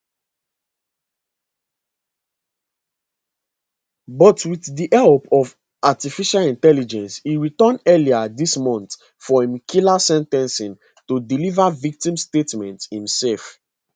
but wit di help of artificial intelligence e return earlier dis month for im killer sen ten cing to deliver victims statement imsef